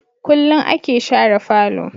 Kullum a ke share falo